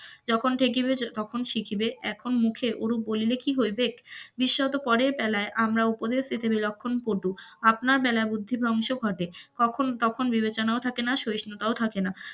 যখন ঠেকিবে তখন শিখিবে, এখন মুখে অরুপ বলিলে কি হইবেক, বিশ্বাস তো পরেও আমরা উপদেশ দিতে বিলক্ষণ পটু. আপনার বেলায় বুদ্ধি ভ্রংশ ঘটে তক্ষন তখন বিবেচনাও থাকে না, সহিষ্ণুতা ও থাকেনা.